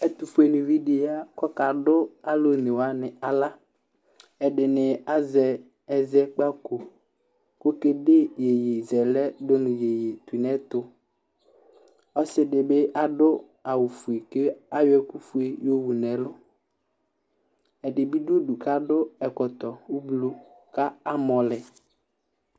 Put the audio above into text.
Ɛtʋfuenɩvidi yɛ, kʋ ɔkadʋ alʋ one wanɩ aɣla, ɛdɩnɩ azɛ ɛzɛkpako, kʋ okede iyeyezɛlɛ dʋ nʋ iyeye tʋ nʋ ɛtʋ, ɔsɩ dɩ adʋ awʋ fue, kʋ ayɔ ɛkʋ fue yɔwu nʋ ɛlʋ, ɛdɩ bɩ dʋ udu kʋ adʋ ɛkɔtɔ ʋblʋ, kʋ amɔ lɛ